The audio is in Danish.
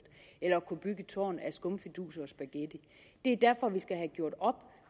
eller at kunne bygge et tårn af skumfiduser og spaghetti det er derfor vi skal have gjort op